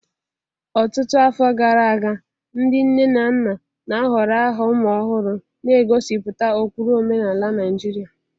Ọtụtụ afọ gara aga, ndị nne na nna na-ahọrọ aha ụmụ ọhụrụ na-egosipụta ụkpụrụ omenala Naijiria.